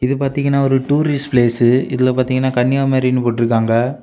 இத பாத்தீங்கன்னா ஒரு டூரிஸ்ட் பிளேஸு இதுல பாத்தீங்கன்னா கன்னியாகுமரி ன்னு போட்ருகாங்க.